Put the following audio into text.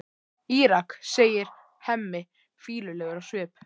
Írak, segir Hemmi, fýlulegur á svip.